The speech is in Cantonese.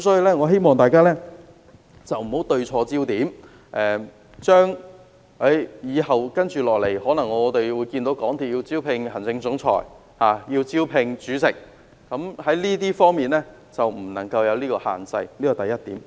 我希望大家不要對錯焦點，我們未來可能看到港鐵公司物色行政總裁和主席，希望它不要設下這些限制，這是第一點。